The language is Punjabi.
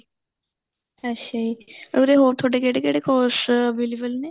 ਅੱਛਾ ਜੀ ਉਰੇ ਹੋਰ ਤੁਹਾਡੇ ਕਹਿੜੇ ਕਹਿੜੇ course available ਨੇ